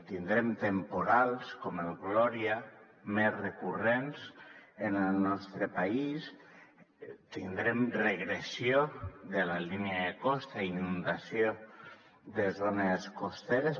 tindrem temporals com el gloria més recurrents en el nostre país tindrem regressió de la línia de costa i inundació de zones costaneres